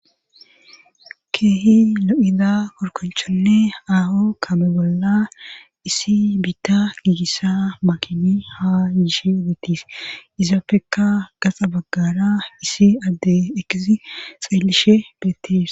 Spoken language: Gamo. keehi lo7ida korkonchonne aho kame bolla isi biitta giigissa makini haa yiishe detis izaafeka gaxa baggara isi adde ekisi xaellishe bettes